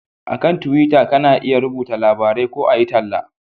A kan tuwita ka na iya rubuta labarai ko a yi talla